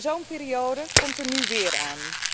Zo'n periode komt er nu weer aan.